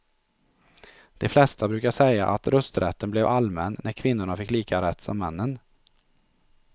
De flesta brukar säga att rösträtten blev allmän när kvinnorna fick lika rätt som männen.